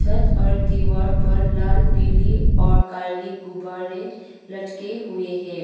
छत और दीवार पर लाल पीली और काली गुब्बारे लटके हुए हैं।